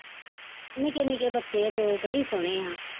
ਨਿਕੇ ਨਿਕੇ ਬੱਚੇ ਆ ਦੋ ਬੜੇ ਈ ਸੋਹਣੇ ਆ